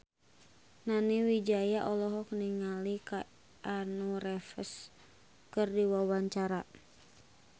Nani Wijaya olohok ningali Keanu Reeves keur diwawancara